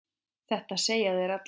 Þetta segja þeir allir!